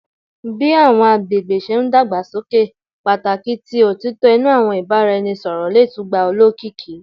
Bi awọn agbegbe ṣe n dagbasoke, pataki ti otitọ inu awọn ibaraẹnisọrọ le tun gba olokiki